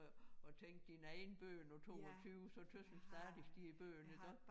Prøv at tænke dine egne børn på 22 så tøs man stadig de er børn iggå